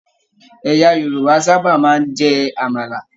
Ẹ̀yà Yorùbá sábà máa n jẹ àmàlà.